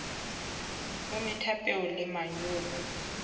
o metha peo le manyolo